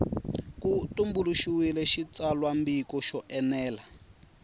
ku tumbuluxiwile xitsalwambiko xo enela